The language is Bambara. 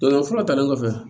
O fura talen kɔfɛ